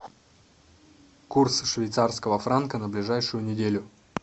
курс швейцарского франка на ближайшую неделю